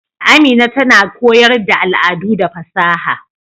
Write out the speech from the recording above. Amina tana koyar da al'adu da fasaha.